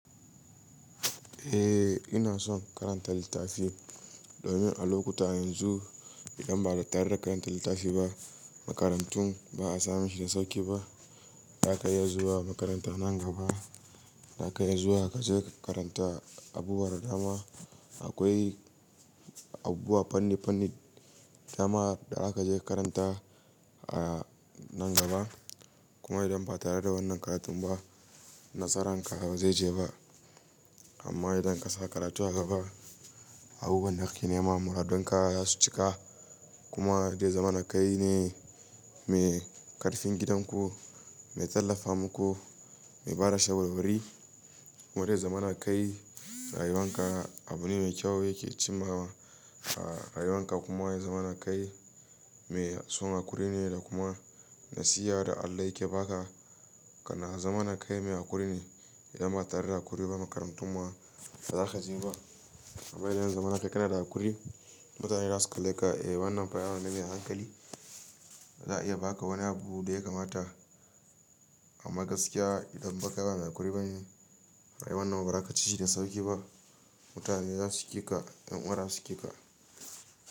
Eh ina son karantar littafi domin a lokuta yanzu idan ba da tare da karantar littafi ba, makarantun ba a samin shi da sauki ba. Za ka iya zuwa makaranta nan gaba, za ka iya zuwa ka je ka karanta abubuwan da dama. Akwai abubuwa fanni-fanni, tsama da za ka je ka karanta a nan gaba. Kuma idan ba tare da wannan karatun ba, nasaran ka ba zai je ba. Amma idan ka sa karatu a gaba, abubuwan da hakki ne ma muradun ka za su cika. Kuma wajen zamana kai ne mai karfin gidan ku, mai tallafa muku, mai bada shawarwari. Barai zaman kai rayuwan ka abu ne mai kyau yake cimawa a rayuwan ka. Kuma ya zamana kai mai son haƙuri ne da kuma nasiha da Allah yake ba ka. Kana zaman kai mai haƙuri ne idan ba tare da haƙuri ba makarantun ma ba za ka je ba. Amma idan ya zamana kai kana da haƙuri, mutane za su kalle ka, eh wannan fa yaro ne mai hankali. Za'a iya ba ka wani abu da ya kamata a magaskiya. Idan bakai ba haƙuri ba ne, rayuwar nan ba za ka ci shi da sauki ba. Mutane za su ƙi ka, ƴan uwana za su ƙi ka.